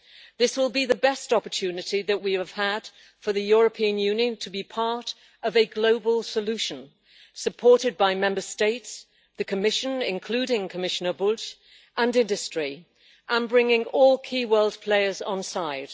This will be the best opportunity that we have had for the European Union to be part of a global solution, supported by Member States, the Commission, including Commissioner Bulc, and industry, and bringing all key world players onside.